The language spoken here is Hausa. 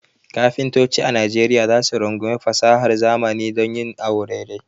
Kafintoci a Najeriya za su rungumi fasahar zamani don yin awo dai dai.